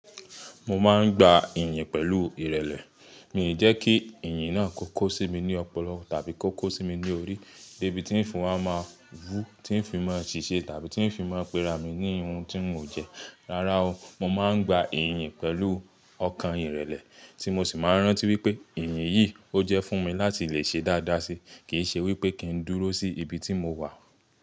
Mo máa ń gba ìyìn pẹ̀lú ìrẹ̀lẹ̀. Mi jẹ́ kí Ìyìn náà kó kó sí mi ní ọpọlọ tàbí kó kó sí mi ní orí de bi tin fi wá ma wu, tí ń fi máa ń ṣìṣe tàbí tí ń fi máa ń pera mi ní ohun tí n ò jẹ. Rárá o, mo máa ń gba ìyìn pẹ̀lú ọkàn ìrẹ̀lẹ̀ tí mo sì máa ń rántí wípé ìyìn yìí ó jẹ́ fún mi láti lè ṣe dáadáa si. Kì í ṣe wípé kí ń dúró sí ibi tí mo wà.